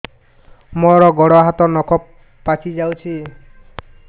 ମୋର ଗୋଡ଼ ହାତ ନଖ ପାଚି ଯାଉଛି